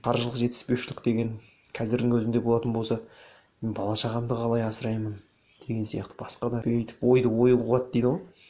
қаржылық жетіспеушілік деген қазірдің өзінде болатын болса мен бала шағамды қалай асыраймын деген сияқты басқа да үрей өтіп ойды ой қуады дейді ғой